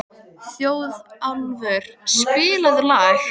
Þjóðólfur, spilaðu lag.